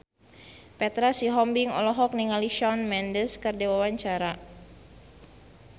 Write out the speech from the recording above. Petra Sihombing olohok ningali Shawn Mendes keur diwawancara